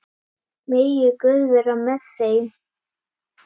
Megi Guð vera með þeim.